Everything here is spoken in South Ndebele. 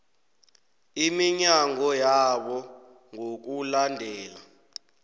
iminyango yabo ngokulandela